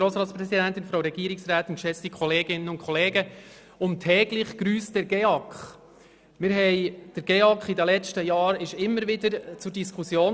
Der GEAK stand in den vergangenen Jahren immer wieder zur Diskussion.